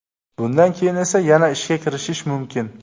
Bundan keyin esa yana ishga kirishish mumkin.